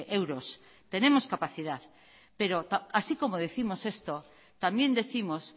euros tenemos capacidad pero así como décimos esto también décimos